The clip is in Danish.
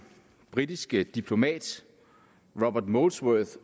britisk diplomat robert molesworth